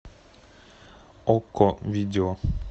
окко видео